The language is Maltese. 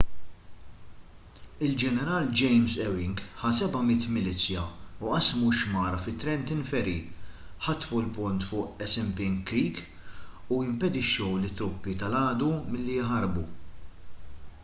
il-ġeneral james ewing ħa 700 milizzja u qasmu x-xmara fi trenton ferry ħatfu l-pont fuq assunpink creek u impedixxew lit-truppi tal-għadu milli jaħarbu